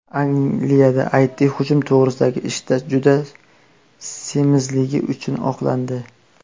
Angliyada it hujum to‘g‘risidagi ishda juda semizligi uchun oqlandi.